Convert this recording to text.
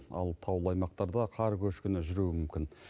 ал таулы аймақтарда қар көшкіні жүруі мүмкін